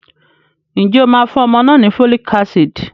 Ǹjẹ́ o máa fún ọmọ náà ni folic acid?